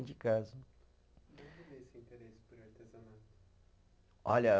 De casa. esse interesse por artesanato? Olha